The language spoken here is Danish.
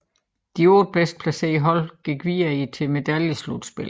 De otte bedst placerede hold gik videre til medaljeslutspillet